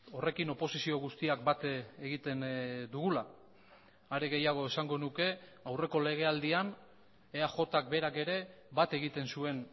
horrekin oposizio guztiak bat egiten dugula are gehiago esango nuke aurreko legealdian eajk berak ere bat egiten zuen